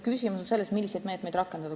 Küsimus on selles, milliseid meetmeid rakendada.